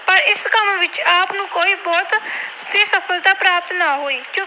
ਪ੍ਰਾਪਤ ਨਾ ਹੋਈ।